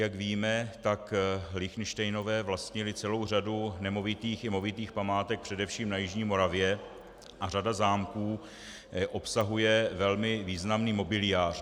Jak víme, tak Lichtenštejnové vlastnili celou řadu nemovitých i movitých památek především na jižní Moravě a řada zámků obsahuje velmi významný mobiliář.